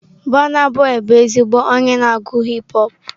Burna boị bụ ezigbo onye na-agụ hip họpụ.